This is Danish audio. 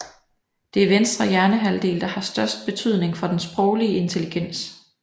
Det er venstre hjernehalvdel der har størst betydning for den sproglige intelligens